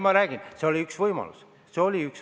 Ma räägin, et see oli üks võimalusi.